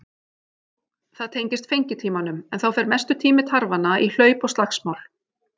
Það tengist fengitímanum en þá fer mestur tími tarfanna í hlaup og slagsmál.